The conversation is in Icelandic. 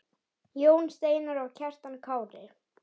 Jón Steinar og Kjartan Kári.